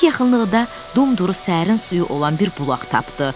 Hek yaxınlıqda dumduru səhərin suyu olan bir bulaq tapdı.